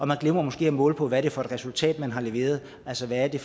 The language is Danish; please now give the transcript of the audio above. man glemmer måske at måle på hvad det er for et resultat man har leveret altså hvad det